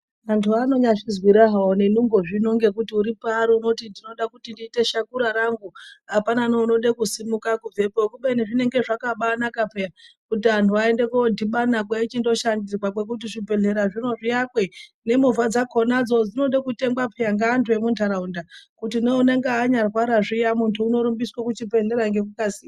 Vantu vanyazvizwira havo nenungo havo nekuti uripari unoti ndinoda kuite shakura rangu hapana neunode kusimuke kubvepo. Kubeni zvakabanaka peya kuti antu aende kodhibana eichindo shandirwa kwekuti zvibhedhlerazvo zviakwe. Nemovha dzacho dzinode kutengwa peya ngeantu emuntaraunda. Kuti neunenge anyarwara zviya muntu unorumbiswe kuchibhedhlera ngekukasira.